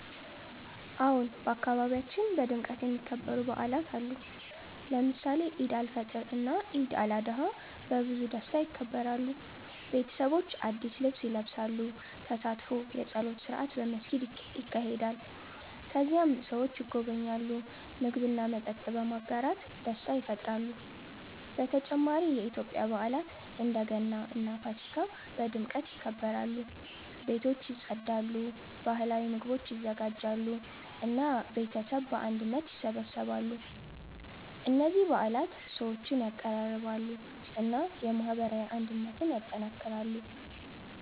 አዎን፣ በአካባቢያችን በድምቀት የሚከበሩ በዓላት አሉ። ለምሳሌ ኢድ አልፈጥር እና ኢድ አልአድሃ በብዙ ደስታ ይከበራሉ። ቤተሰቦች አዲስ ልብስ ይለብሳሉ፣ ተሳትፎ የጸሎት ስርዓት በመስጊድ ይካሄዳል። ከዚያም ሰዎች ይጎበኛሉ፣ ምግብ እና መጠጥ በመጋራት ደስታ ይፈጥራሉ። በተጨማሪ የኢትዮጵያ በዓላት እንደ ገና እና ፋሲካ በድምቀት ይከበራሉ። ቤቶች ይጸዳሉ፣ ባህላዊ ምግቦች ይዘጋጃሉ እና ቤተሰብ በአንድነት ይሰበሰባሉ። እነዚህ በዓላት ሰዎችን ያቀራርባሉ እና የማህበራዊ አንድነትን ያጠናክራሉ።